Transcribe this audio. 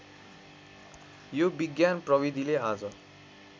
यो विज्ञान प्रविधिले आज